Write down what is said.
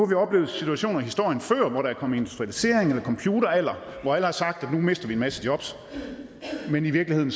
vi oplevet situationer i historien før hvor der er kommet industrialisering eller computeralder og hvor alle har sagt at nu mister vi en masse jobs men i virkeligheden